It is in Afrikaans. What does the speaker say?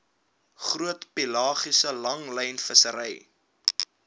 groot pelagiese langlynvissery